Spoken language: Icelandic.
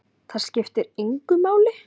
Það skiptir engu máli!